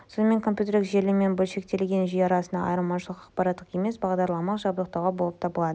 сонымен компьютерлік желі мен бөлшектелген жүйе арасындағы айырмашылық аппараттық емес бағдарламалық жабдықтауда болып табылады